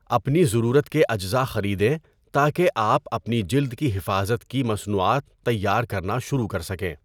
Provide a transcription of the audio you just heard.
اپنی ضرورت کے اجزاء خریدیں تاکہ آپ اپنی جِلد کی حفاظت کی مصنوعات تیار کرنا شروع کر سکیں۔